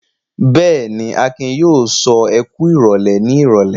Bẹ́ẹ̀ ni, Akin yóò sọ "ẹ kú ìrólé" ní ìrọ́lẹ́.